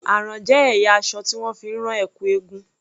Àrán jé ẹ̀yà aṣọ tí wón fi máa ń rán ẹ̀kú eégún.